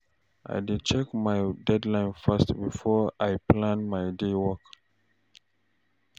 I dey check my deadline first before I plan my day work.